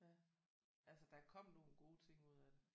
Ja altså der kom nogle gode ting ud af det